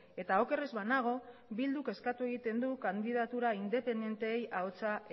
eta oker ez banago bilduk eskatu egiten du kandidatura independenteei ahotsa